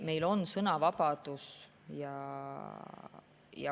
Meil on sõnavabadus.